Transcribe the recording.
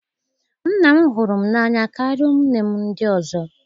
Nna m hụrụ m n'anya karịa ụmụnne m ndị ọzọ